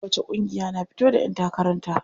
Kowacce ƙungiya na fito da ƴan takaran ta.